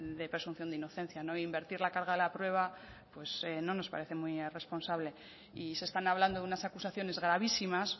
de presunción de inocencia invertir la carga de la prueba pues no nos parece muy responsable y se están hablando de unas acusaciones gravísimas